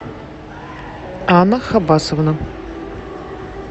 анна хабасовна